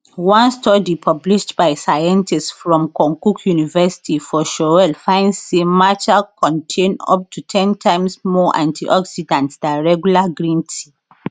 one study published by scientists from konkuk university for seoul find say matcha contain up to ten times more antioxidants dan regular green tea